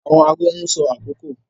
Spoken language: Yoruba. Awọn aago n sọ akoko